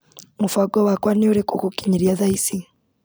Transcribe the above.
Mũbango wakwa nĩ ũrĩko gũkinyĩria thaa ici.